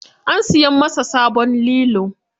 An siya masa sabon lilo.